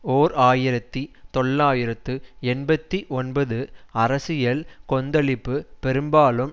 ஓர் ஆயிரத்தி தொள்ளாயிரத்து எண்பத்தி ஒன்பது அரசியல் கொந்தளிப்பு பெரும்பாலும்